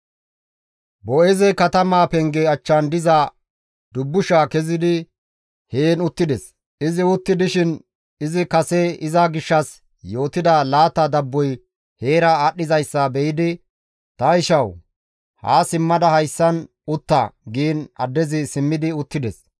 Boo7eezey katamaa penge achchan diza dubbushaa kezidi heen uttides. Izi utti dishin izi kase iza gishshas yootida laata dabboy heera aadhdhizayssa be7idi, «Ta ishawu! Haa simmada hayssan utta» giin addezi simmidi uttides.